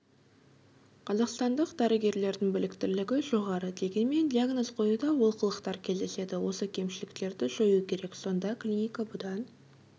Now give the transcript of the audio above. қазақстандық дәрігерлердің біліктілігі жоғары дегенмен диагноз қоюда олқылықтар кездеседі осы кемшіліктерді жою керек сонда клиника бұдан